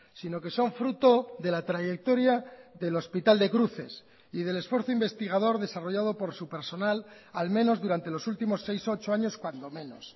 sino que son fruto de la trayectoria del hospital de cruces y del esfuerzo investigador desarrollado por su personal al menos durante los últimos seis ocho años cuando menos